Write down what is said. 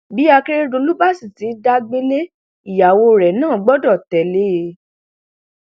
bí akérèdọlù bá sì ti ń dá gbélé ìyàwó rẹ náà gbọdọ tẹlé e